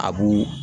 A b'u